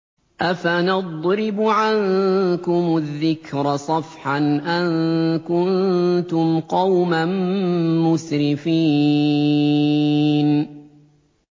أَفَنَضْرِبُ عَنكُمُ الذِّكْرَ صَفْحًا أَن كُنتُمْ قَوْمًا مُّسْرِفِينَ